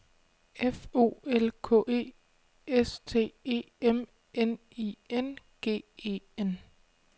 F O L K E S T E M N I N G E N